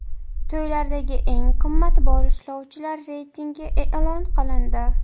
To‘ylardagi eng qimmat boshlovchilar reytingi e’lon qilindi.